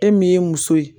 E min ye muso ye